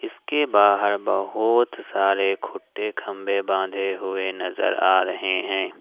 इसके बाहर बहोत सारे खूंटे खंबे बंधे हुए नजर आ रहे हैं।